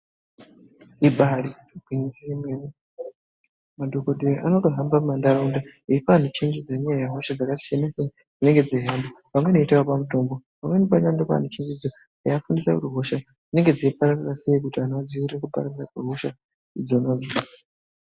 Ibari gwinyiso yemene madhokodheya anotohamba mumandaraunda eipa anhu chenjedzo ngendaa yehosha dzakasiyana siyana dzinenge dzeihamba, vamweni veitovapa mutombo pamweni pacho vanotopa vanhu chenjedzo nekuvafundisa kuti hosha dzinenge dzeipararira sei kuti vanhu vadziirire kupararira kwe hosha idzonadzo.